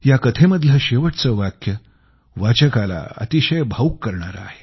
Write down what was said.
या कथेमधलं शेवटचं वाक्य वाचकाला अतिशय भावुक बनवणारं आहे